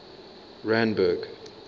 randburg